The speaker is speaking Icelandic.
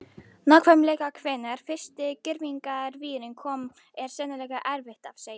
Nákvæmlega hvenær fyrsti girðingarvírinn kom er sennilega erfitt að segja.